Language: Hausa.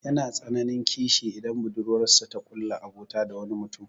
Yana tsananin kishi idan budurwarsa ta ƙulla abota da wani mutum.